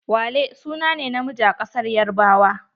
Wale sune ne na miji a kasar yarbawa.